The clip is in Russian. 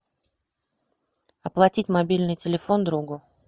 оплатить мобильный телефон другу